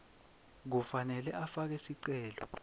kufanele afake sicelo